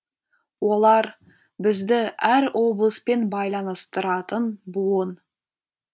олар бізді әр облыспен байланыстыратын буын